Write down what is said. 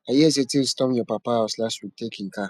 i hear say thieves storm your papa house last week take im car